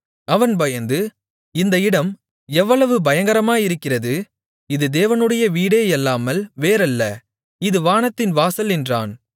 அவன் பயந்து இந்த இடம் எவ்வளவு பயங்கரமாயிருக்கிறது இது தேவனுடைய வீடேயல்லாமல் வேறல்ல இது வானத்தின் வாசல் என்றான்